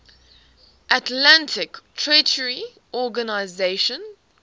atlantic treaty organisation